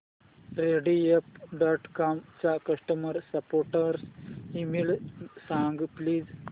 Rediff dot com चा customer support email सांग please